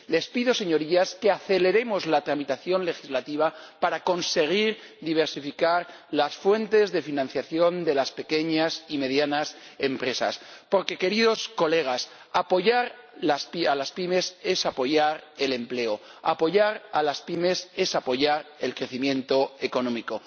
Les pido, Señorías, que aceleremos la tramitación legislativa para conseguir diversificar las fuentes de financiación de las pequeñas y medianas empresas, porque, queridos colegas, apoyar a las pymes es apoyar el empleo, apoyar a las pymes es apoyar el crecimiento económico.